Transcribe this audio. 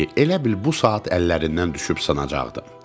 elə bil bu saat əllərindən düşüb sınacaqdı.